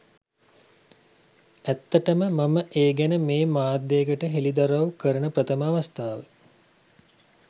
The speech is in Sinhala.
ඇත්තටම මම ඒ ගැන මේ මාධ්‍යයකට හෙළිදරවු කරන ප්‍රථම අවස්ථාව.